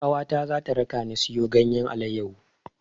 Ƙawata za ta rakani siyo ganyen alayyahu.